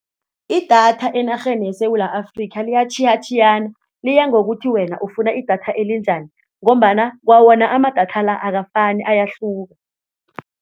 Idatha enarheni yeSewula Afrika liyatjhiyatjhiyana liya ngokuthi wena ufuna idatha elinjani ngombana kwawona amadatha la akafani ayahluka.